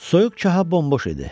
Soyuq çaha bomboş idi.